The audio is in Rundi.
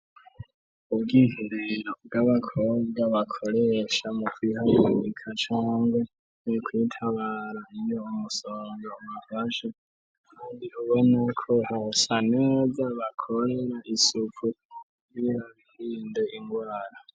Ubwiherero bw'abakobwa bakoresha mu kwihagarika cangwe mu kwitabara iyo umusonga ubafashe ubona ko hasa neza bakorere isuku kugira birinde ingwara.